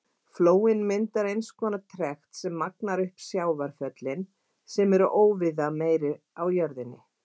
Flóinn myndar eins konar trekt sem magnar upp sjávarföllin sem eru óvíða meiri á jörðinni.